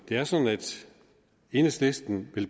er sådan at enhedslisten